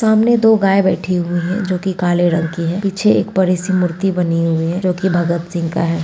सामने दो गाय बैठी हुई हैं जो काले रंग की है पीछे एक बड़े-सी मूर्ति बनी हुई है जो की भगत सिंह का है।